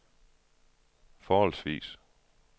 forholdsvis